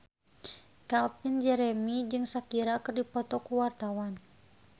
Calvin Jeremy jeung Shakira keur dipoto ku wartawan